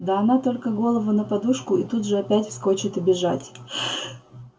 да она только голову на подушку и тут же опять вскочит и бежать